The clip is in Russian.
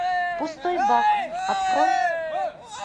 пустой бак открой